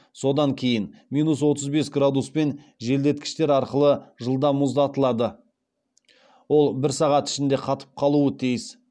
содан кейін минус отыз бес градуспен желдеткіштер арқылы жылдам мұздатылады ол бір сағат ішінде қатып қалуы тиіс